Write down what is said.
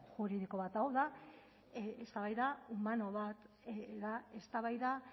juridiko bat hau da eztabaida humano bat da eztabaida